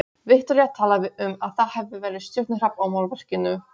Viktoría talaði um að það hefði verið stjörnuhrap á málverkinu.